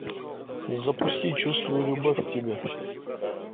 запусти чувствую любовь к тебе